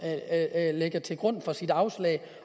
lægger til grund for sit afslag